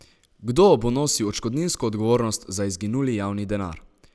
Kdo bo nosil odškodninsko odgovornost za izginuli javni denar?